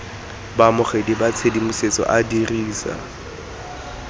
baamogedi ba tshedimosetso a dirisa